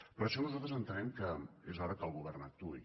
per això nosaltres entenem que és hora que el govern actuï